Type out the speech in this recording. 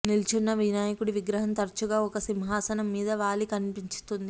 నిల్చున్న వినాయకుడి విగ్రహం తరచుగా ఒక సింహాసనం మీద వాలి కనిపిస్తుంది